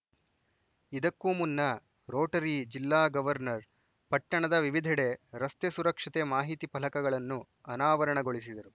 ಇದಕ್ಕೂ ಮುನ್ನ ರೋಟರಿ ಜಿಲ್ಲಾ ಗವರ್ನರ್‌ ಪಟ್ಟಣದ ವಿವಿಧೆಡೆ ರಸ್ತೆ ಸುರಕ್ಷತೆ ಮಾಹಿತಿ ಫಲಕಗಳನ್ನು ಅನಾವರಣಗೊಳಿಸಿದರು